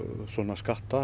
svona